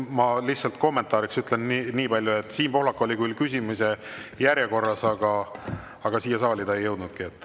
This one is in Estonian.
Ma lihtsalt kommentaariks ütlen nii palju, et Siim Pohlak oli küll küsimise järjekorras, aga siia saali ta ei jõudnudki.